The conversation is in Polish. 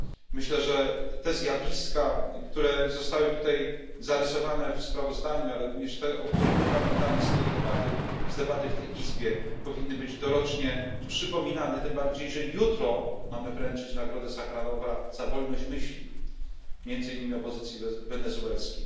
Myślę, że te zjawiska, które zostały tutaj zarysowane w sprawozdaniu, ale również te, o których my tutaj pamiętamy z debaty w tej izbie, powinny być dorocznie przypominane, tym bardziej że jutro mamy wręczyć nagrodę Sacharowa za wolność myśli, między innymi opozycji wenezuelskiej.